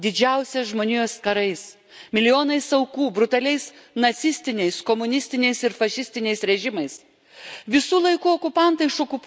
Istorijoje, kuri pažymėta didžiausiais žmonijos karais, milijonais aukų, brutaliais nacistiniais, komunistiniais ir fašistiniais režimais.